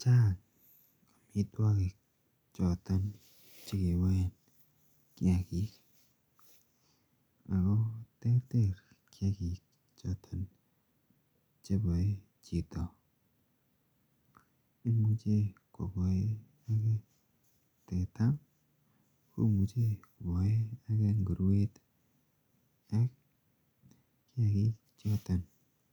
Chang amituakik choto chekiboen kiagik Ako terter kiagik choton chebai chito. Imuche kobaen age teta, komuche kobaen age nguruet ih, ak kiagik choton